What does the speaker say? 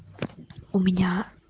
у меня